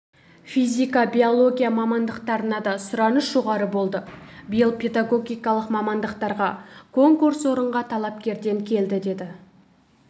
физика биология мамандықтарына да сұраныс жоғары болды биыл педагогикалық мамандықтарға конкурс орынға талапкерден келді деді